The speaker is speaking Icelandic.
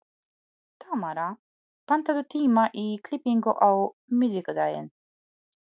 Tamara, pantaðu tíma í klippingu á miðvikudaginn.